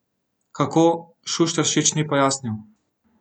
Kako, Šušteršič ni pojasnil.